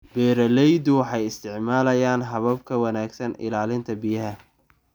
Beeraleydu waxay isticmaalayaan habab ka wanaagsan ilaalinta biyaha.